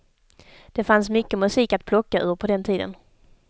Det fanns mycket musik att plocka ur på den tiden.